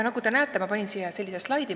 Nagu näete, ma panin siia sellise slaidi.